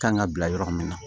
Kan ka bila yɔrɔ min na